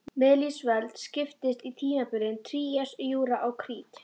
Miðlífsöld skiptist í tímabilin trías, júra og krít.